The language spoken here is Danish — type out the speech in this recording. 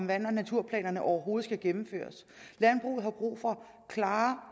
vand og naturplanerne overhovedet skal gennemføres landbruget har brug for klare